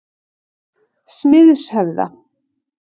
Smiðshöfða